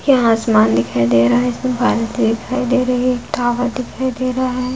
यहाँ आसमान दिखाई दे रहा है इसमे वारंटी दिखाई दे रही है एक टॉवर दिखाई दे रहा है।